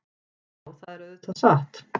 Já, það er auðvitað satt.